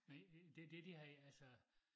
Men det dét de har altså